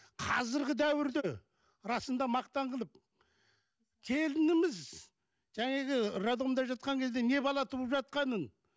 қазіргі дәуірде расында мақтан қылып келініміз жаңағы роддомда жатқан кезде не бала туып жатқанын